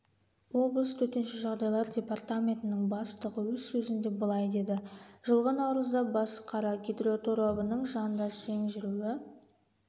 облыс төтенше жағдайлар департаментінің бастығы өз сөзінде былай деді жылғы наурызда басықара гидроторабының жанында сең жүруі